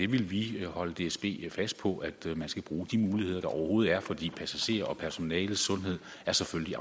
vi vil holde dsb fast på at man skal bruge de muligheder der overhovedet er fordi passagerers og personales sundhed selvfølgelig